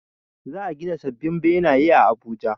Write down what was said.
Za a gina sabbin benaye a Abuja